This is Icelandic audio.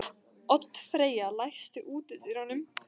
Oddfreyja, læstu útidyrunum.